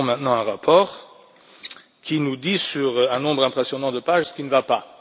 Nous avons maintenant un rapport qui nous dit, sur un nombre impressionnant de pages, ce qui ne va pas.